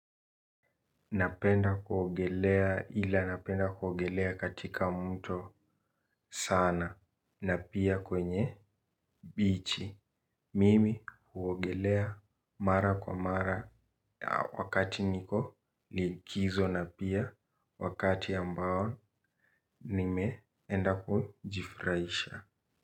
Napenda kuogelea ila napenda kuogelea katika mto sana na pia kwenye bichi. Mimi huogelea mara kwa mara wakati niko likizo na pia wakati ambao nimeenda kujifurahisha.